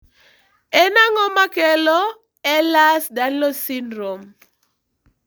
En ang'o makelo Ehlers Danlos syndrome?